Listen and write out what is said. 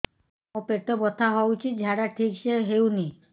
ମୋ ପେଟ ବଥା ହୋଉଛି ଝାଡା ଠିକ ସେ ହେଉନି